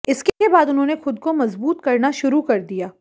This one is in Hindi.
इसके बाद उन्होंने खुद को मजबूत करना शुरू कर दिया